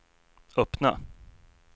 öppna